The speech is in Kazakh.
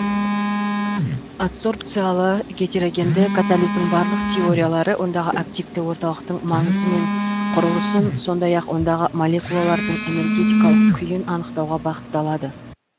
адсорбциялы гетерогенді катализдің барлық теориялары ондағы активті орталықтың маңызы мен құрылысын сондай ақ ондағы молекулалардың энергетикалық күйін анықтауға бағытталады